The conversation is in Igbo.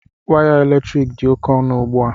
Waya eletrik dị oke ọnụ ugbu a